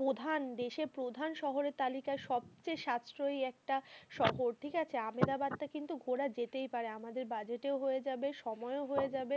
প্রধান দেশের প্রধান শহরের তালিকায়, সবচেয়ে সাতশরীয়ী একটা শহর ঠিক আছে আমেদাবাদ টা কিন্তু ঘোরা যেতেই পারে আমাদের budget তেও হয়ে যাবে, সময় ও হয়ে যাবে।